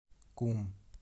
кум